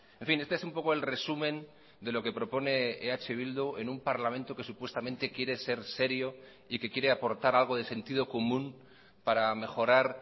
en fin este es un poco el resumen de lo que propone eh bildu en un parlamento que supuestamente quiere ser serio y que quiere aportar algo de sentido común para mejorar